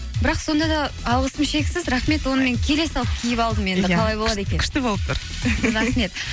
бірақ сонда да алғысым шексіз рахмет оны мен келе салып киіп алдым қалай болады екен күшті болып тұр